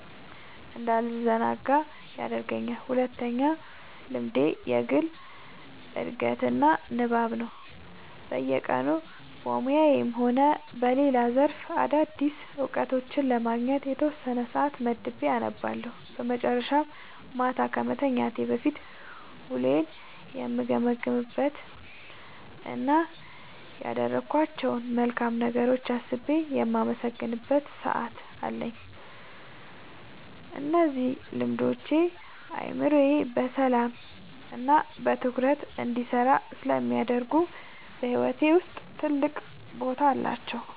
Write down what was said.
እንዳልዘናጋ ይረዳኛል። ሁለተኛው ልምዴ የግል ዕድገትና ንባብ ነው፤ በየቀኑ በሙያዬም ሆነ በሌላ ዘርፍ አዳዲስ እውቀቶችን ለማግኘት የተወሰነ ሰዓት መድቤ አነባለሁ። በመጨረሻም፣ ማታ ከመተኛቴ በፊት ውሎዬን የምገመግምበት እና ያደረግኳቸውን መልካም ነገሮች አስቤ የማመሰግንበት ሰዓት አለኝ። እነዚህ ልምዶች አእምሮዬ በሰላምና በትኩረት እንዲሰራ ስለሚያደርጉ በሕይወቴ ውስጥ ትልቅ ቦታ አላቸው።"